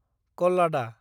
कल्लादा